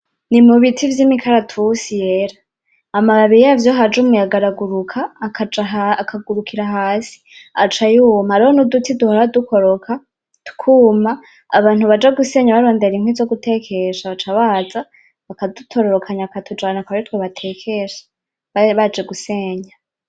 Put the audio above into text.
Ni mu biti vy'imikaratusi yera. Amababi yavyo iyo haje umuyaga araguruka, agacaa akagurukira hasi, aca yuma. Hariho nuduti duho dukoroka, tukuma. Abantu baja gusenya barondera inkwi zogutekesha, baca baza bakadutora bakongera bakatujana akaba aritwo batekesha. Baba baje gusenya.